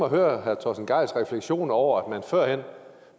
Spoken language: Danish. at høre herre torsten gejls refleksioner over at man førhen